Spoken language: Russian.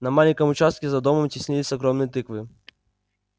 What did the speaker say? на маленьком участке за домом теснились огромные тыквы